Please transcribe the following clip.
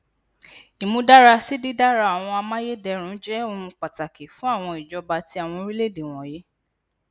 imudarasi didara awọn amayedẹrun jẹ ohun pataki fun awọn ijọba ti awọn orilẹede wọnyi